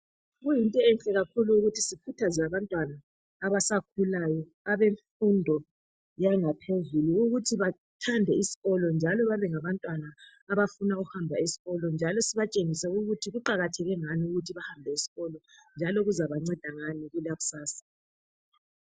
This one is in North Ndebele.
Kuyinto enhle kakhulu ukuthi sikhuthaze abantwana abasakhulayo, abemfundo yangaphezulu ukuthi bathande iskolo, njalo babe ngabantwana abafuna ukuhamba esikolo, njalo sibatshengise ukuthi kuqakatheke ngani ukuthi behambe esikolo, njalo kuzabanceda ngani kusasa.